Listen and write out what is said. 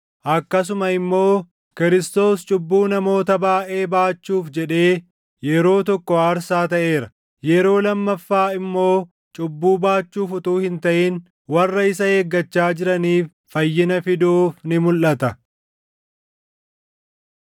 akkasuma immoo Kiristoos cubbuu namoota baayʼee baachuuf jedhee yeroo tokko aarsaa taʼeera; yeroo lammaffaa immoo cubbuu baachuuf utuu hin taʼin warra isa eeggachaa jiraniif fayyina fiduuf ni mulʼata.